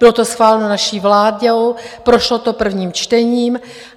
Bylo to schváleno naší vládou, prošlo to prvním čtením.